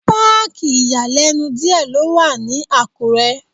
Páàkì ìyàlẹ́nu díẹ̀ ló wà ní Àkúrẹ́.